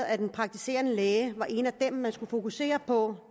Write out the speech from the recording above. at den praktiserende læge var en af dem man skulle fokusere på